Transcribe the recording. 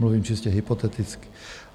Mluvím čistě hypoteticky.